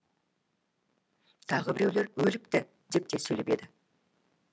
тағы біреулер өліпті деп те сөйлеп еді